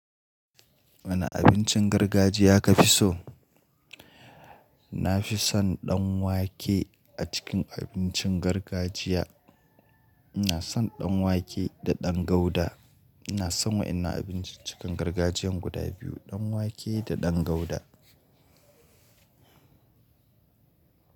Wane abincin gargajiya ka fi so? Na fi son ɗan wake a cikin abincin gargajiya. Ina son ɗan wake da ɗan gauda. Inaa son wadan nan abincin gargajiyan guda biyu, ɗan wake da ɗan gauda.